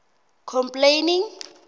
complaining